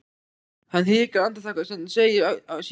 Hann hikar andartak en segir síðan